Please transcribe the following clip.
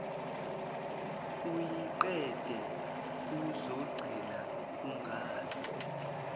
uyiqede uzogcina ungazi